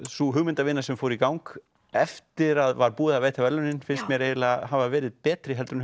sú hugmyndavinna sem fór í gang eftir að var búið að veita verðlaunin finnst mér eiginlega hafa verið betri heldur en